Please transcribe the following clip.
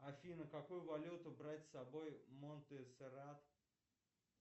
афина какую валюту брать с собой в монтсеррат